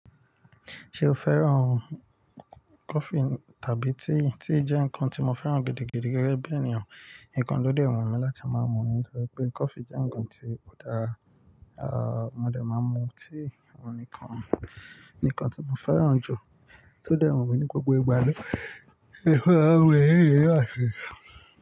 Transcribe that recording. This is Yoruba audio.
Ṣé o fẹ́ràn coffee tàbí tea? Tea jẹ́ nǹkan tí mo fẹ́ràn gidigidi gẹ́gẹ́ bí ènìyàn. Nǹkan tó dẹ́ wù mi láti máa mú ni nítorí pé coffee jẹ́ nǹkan tí ò dára. Mo dẹ̀ máa mú tea, nǹkan, nǹkan tí mo fẹ́ràn jù tó dẹ́ wù mi ní gbogbo ìgbà lọ. Ẹ fẹ́ràn ohun ìyèrí rẹ àti.